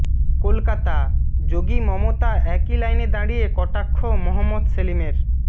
কলকাতাঃ যোগী মমতা একই লাইনে দাঁড়িয়ে কটাক্ষ মহম্মদ সেলিমের